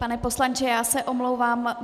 Pane poslanče, já se omlouvám.